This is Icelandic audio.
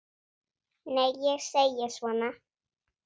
Nei, ég segi svona.